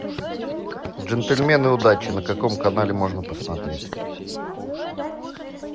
джентльмены удачи на каком канале можно посмотреть